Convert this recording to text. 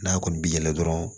N'a kɔni bɛ yɛlɛ dɔrɔn